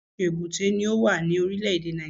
Oríṣìíríṣìí èbúté ni ó wà ní Orílẹ̀dè Nàìjíríà